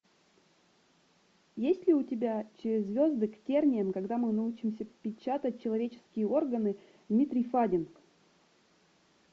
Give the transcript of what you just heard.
есть ли у тебя через звезды к терниям когда мы научимся печатать человеческие органы дмитрий фадин